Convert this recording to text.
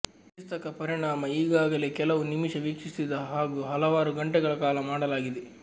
ಚಿಕಿತ್ಸಕ ಪರಿಣಾಮ ಈಗಾಗಲೇ ಕೆಲವು ನಿಮಿಷ ವೀಕ್ಷಿಸಿದ ಹಾಗೂ ಹಲವಾರು ಗಂಟೆಗಳ ಕಾಲ ಮಾಡಲಾಗಿದೆ